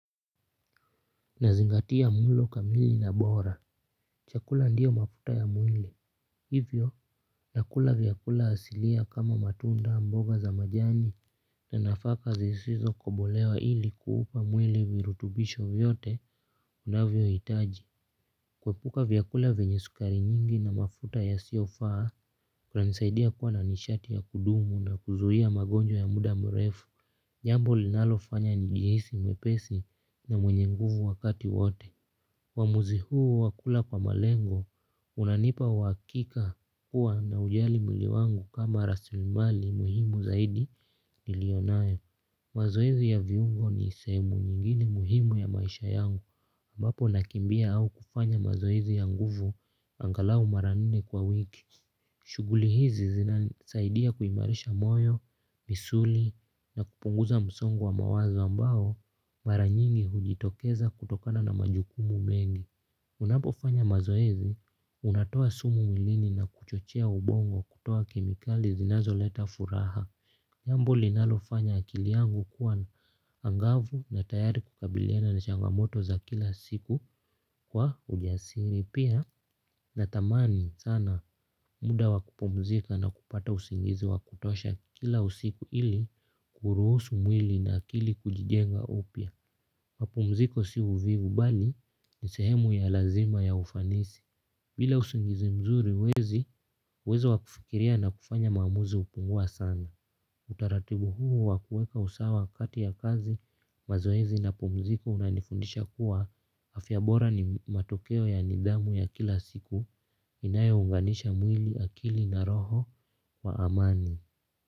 Nazingatia mlo kamili na bora. Chakula ndiyo mafuta ya mwili. Hivyo nakula vyakula asilia kama matunda mboga za majani na nafaka zisizo kobolewa ili kuupa mwile virutubisho vyote inavyohitaji. Kuepuka vyakula vyenye sukari nyingi na mafuta yasiyofaa kunanisaidia kuwa na nishati ya kudumu na kuzuia magonjwa ya muda mrefu. Jambo linalofanya nijihisi mwepesi na mwenye nguvu wakati wote uamuzi huo wa kula kwa malengo unanipa uhakika kuwa naujali mwili wangu kama rasilimali muhimu zaidi nilionayo. Mazoezi ya viungo ni sehemu nyingine muhimu ya maisha yangu ambapo nakimbia au kufanya mazoezi ya nguvu angalau mara nne kwa wiki. Shuguli hizi zinasaidia kuimarisha moyo misuli na kupunguza msongo wa mawazo ambao mara nyingi hujitokeza kutokana na majukumu mengi. Unapo fanya mazoezi unatoa sumu mwilini na kuchochea ubongo kutoa kemikali zinazo leta furaha jambo linalofanya akili yangu kuwa angavu na tayari kukabiliana na changamoto za kila siku kwa ujasiri pia natamani sana muda wakupumzika na kupata usingizi wa kutosha kila usiku ili kuruhusu mwili na akili kujijenga upya. Mapumziko si uvivu bali ni sehemu ya lazima ya ufanisi. Bila usingizi mzuri huwezi uwezo wa kufikiria na kufanya maamuzi hupungua sana. Utaratibu huo wa kueka usawa kati ya kazi mazoezi na pumziko unanifundisha kuwa afya bora ni matokeo ya nidhamu ya kila siku inayo unganisha mwili akili na roho kwa amani.